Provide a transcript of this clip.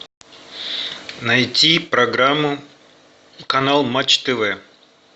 найти программу канал матч тв